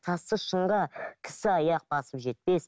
тасты шыңға кісі аяқ басып жетпес